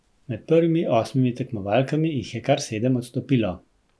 Med prvimi osmimi tekmovalkami jih je kar sedem odstopilo!